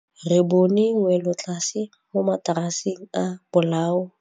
Re bone wêlôtlasê mo mataraseng a bolaô.